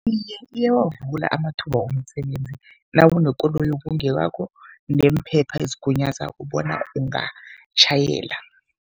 Iye, iyawavula amathuba womsebenzi, nawunekoloyi ekungeyakho neemphepha ezigunyazako bona ungatjhayela.